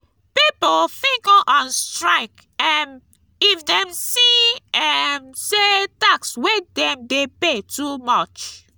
pipo fit go on strike um if dem see um say tax wey dem de pay too much